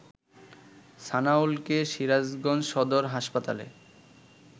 সানাউলকে সিরাজগঞ্জ সদর হাসপাতালে